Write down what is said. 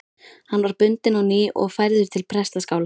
Hann var bundinn á ný og færður til prestaskála.